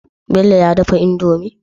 Bello ya daro indomie?